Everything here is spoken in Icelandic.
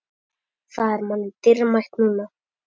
Það er manni dýrmætt núna.